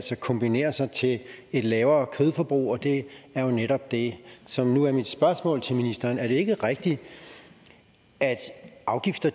kombinere sig til et lavere kødforbrug og det er jo netop det som nu er mit spørgsmål til ministeren er det ikke rigtigt at afgifter